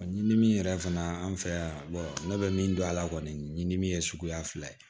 Ɲimini yɛrɛ fana an fɛ yan ne bɛ min dɔn a la kɔni min ye suguya fila ye